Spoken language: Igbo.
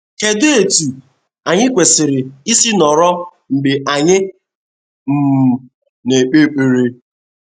Kedụ etú anyị kwesịrị isi nọrọ mgbe anyị um na - ekpe ekpere?